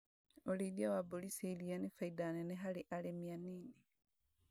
ũrĩithia wa mbũri cia iria nĩ baida nene harĩ arĩmi anini